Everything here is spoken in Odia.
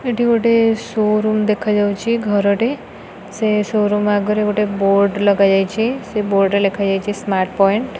ଏଠି ଗୋଟେ ସୋରୁମ୍ ଦେଖା ଯାଉଛି ଘର ଟେ ସେସୋରୁମ୍ ଆଗରେ ଗୋଟେ ବୋର୍ଡ ଲଗାଯାଇଛି ସେ ବୋର୍ଡ ରେ ଲେଖା ଯାଇଛି ସ୍ମାର୍ଟ୍ ପଏଣ୍ଟ ।